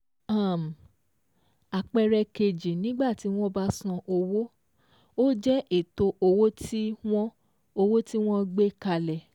um Àpẹẹrẹ kejì nígbà tí wọ́n bá san owó, ó jẹ́ ètò owó tí wọ́n owó tí wọ́n gbé kalẹ̀